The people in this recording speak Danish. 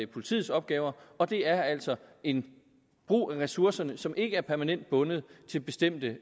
politiets opgaver og det er altså en brug af ressourcerne som ikke er permanent bundet til bestemte